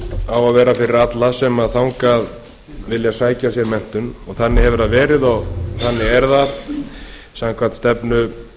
á að vera fyrir alla sem þangað vilja sækja sér menntun þannig hefur það verið og þannig er það samkvæmt stefnu